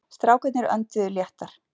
Strákarnir önduðu léttar.